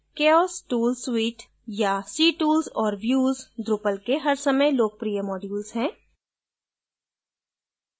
chaos tool suite या ctools और views drupal के हर समय लोकप्रिय modules हैं